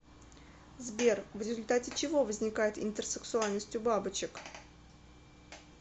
сбер в результате чего возникает интерсексуальность у бабочек